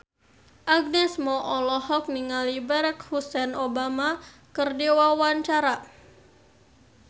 Agnes Mo olohok ningali Barack Hussein Obama keur diwawancara